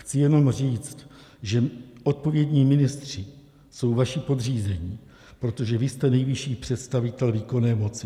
Chci jenom říct, že odpovědní ministři jsou vaši podřízení, protože vy jste nejvyšší představitel výkonné moci.